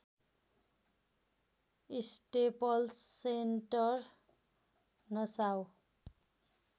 staples Center Nassau